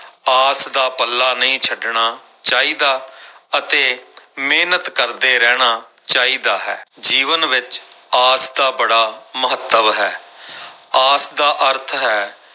ਆਸ ਦਾ ਪੱਲਾ ਨਹੀਂ ਛੱਡਣਾ ਚਾਹੀਦਾ ਅਤੇ ਮਿਹਨਤ ਕਰਦੇ ਰਹਿਣਾ ਚਾਹੀਦਾ ਹੈ, ਜੀਵਨ ਵਿੱਚ ਆਸ ਦਾ ਬੜਾ ਮਹੱਤਵ ਹੈ ਆਸ ਦਾ ਅਰਥ ਹੈ,